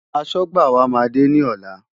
Aṣọ́gbà wa máa dé ní ọ̀la.